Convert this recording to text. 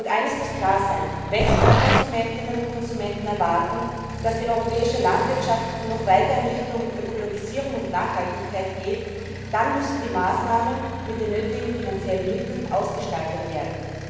Eines muss klar sein Wenn die Verbraucherinnen und Verbraucher erwarten, dass die europäische Landwirtschaft noch weiter in Richtung Ökologisierung und Nachhaltigkeit geht, dann müssen die Maßnahmen mit den nötigen finanziellen Mitteln ausgestaltet werden.